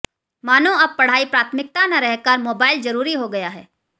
मानो अब पढ़ाई प्राथमिकता न रहकर मोबाइल जरूरी हो गया है